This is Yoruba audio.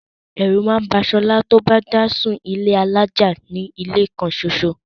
Ẹ̀rù máà ń ba Solá ti o bá dá sun ilé alájà nínú ilé kan soso.